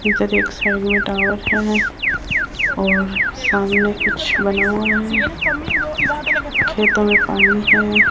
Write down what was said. इधर एक साइड में टावर है और सामने कुछ बना हुआ है खेतों में पानी है।